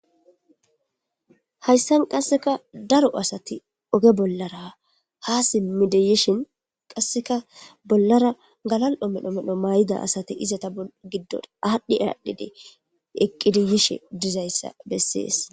hayssan qasseka daro asati oge bollara ha simmideyishin qasseka bollara galal7o medho medho maay7ida asate izata giddon aadhdhi aadhdhide eqqidiyishe dizayssa bessees